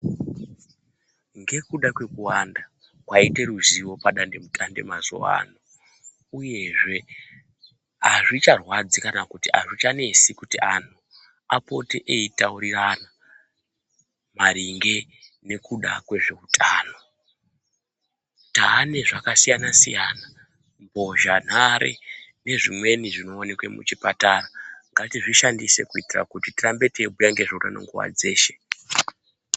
Ngekuda kwekuwanda kwaite huzivo padandemutande mazuva ano, uyezve hazvicharwadzi kana kuti hazvichanesi kuti antu apote eitaurirana maringe nekuda kwezvehutano. Tane zvakasiyana-siyana mbozhanhare nezvimweni zvinoneke muchipatara. Ngatizvishandise kuitira kuti tirambe teibhuya ngezveutano nguva dzeshe.